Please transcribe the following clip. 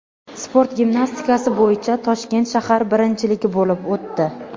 Sport gimnastikasi bo‘yicha Toshkent shahar birinchiligi bo‘lib o‘tdi.